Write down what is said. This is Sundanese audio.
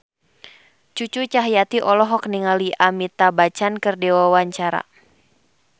Cucu Cahyati olohok ningali Amitabh Bachchan keur diwawancara